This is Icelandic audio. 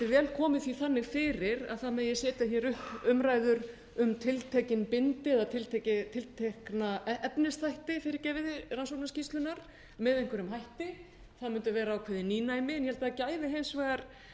vel komið því þannig fyrir að setja megi upp umræður um tiltekin bindi eða tiltekna efnisþætti rannsóknarskýrslunnar með einhverjum hætti það mundi vera ákveðið nýnæmi ég held að það gæfi hins vegar